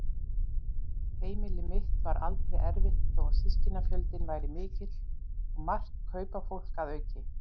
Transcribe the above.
Heimili mitt var aldrei erfitt þó að systkinafjöldinn væri mikill og margt kaupafólk að auki.